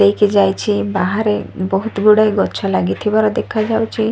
ନେଇକି ଯାଇଛି ବାହାରେ ବହୁତ ଗୁଡ଼ାଏ ଗଛ ଲାଗିଥିବାର ଦେଖାଯାଉଚି।